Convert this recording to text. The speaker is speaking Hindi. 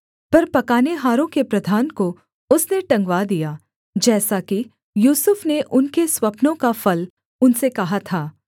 पर पकानेहारों के प्रधान को उसने टंगवा दिया जैसा कि यूसुफ ने उनके स्वप्नों का फल उनसे कहा था